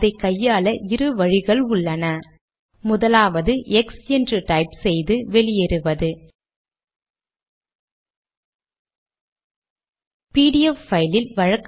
அதை இப்போது செய்கிறேன் சேமித்து கம்பைல்